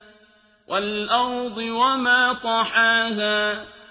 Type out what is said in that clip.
وَالْأَرْضِ وَمَا طَحَاهَا